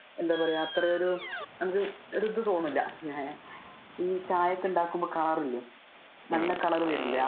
എന്താ പറയാ അത്ര ഒരു ഇത് തോന്നില്ല. ഈ ചായ ഒക്കെ ഉണ്ടാകുമ്പോൾ color ഇല്ലേ നല്ലൊരു color വരില്ലേ